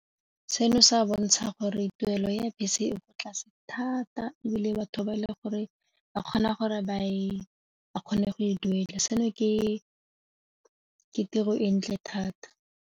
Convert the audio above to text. Seno se a bontsha gore tuelo ya bese e kwa tlase thata ebile batho ba e le gore ba kgona go e duela seno ke ke tiro e ntle thata.